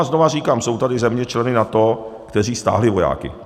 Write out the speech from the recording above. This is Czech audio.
A znovu říkám, jsou tady země, členové NATO, kteří stáhli vojáky.